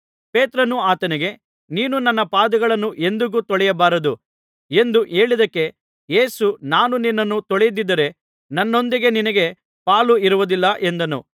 ಪೇತ್ರನು ಆತನಿಗೆ ನೀನು ನನ್ನ ಪಾದಗಳನ್ನು ಎಂದಿಗೂ ತೊಳೆಯಬಾರದು ಎಂದು ಹೇಳಿದ್ದಕ್ಕೆ ಯೇಸು ನಾನು ನಿನ್ನನ್ನು ತೊಳೆಯದಿದ್ದರೆ ನನ್ನೊಂದಿಗೆ ನಿನಗೆ ಪಾಲು ಇರುವುದಿಲ್ಲ ಎಂದನು